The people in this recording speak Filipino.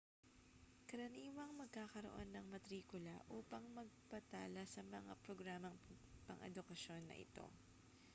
karaniwang magkakaroon ng matrikula upang magpatala sa mga programang pang-edukasyon na ito